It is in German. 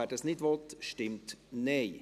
wer das nicht will, stimmt Nein.